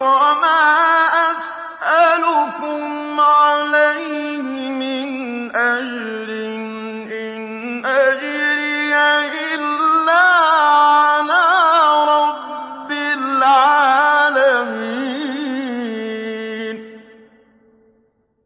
وَمَا أَسْأَلُكُمْ عَلَيْهِ مِنْ أَجْرٍ ۖ إِنْ أَجْرِيَ إِلَّا عَلَىٰ رَبِّ الْعَالَمِينَ